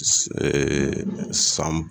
san